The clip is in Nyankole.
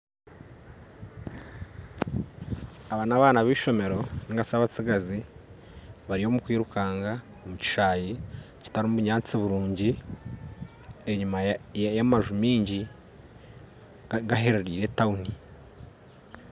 Aba n'abaana b'eishomeero nigashi abatsigazi bari omukwirukaanga omu kishaayi kitarimu bunyatsi burungi enyima y'amanju maingi egeheerire n'etauni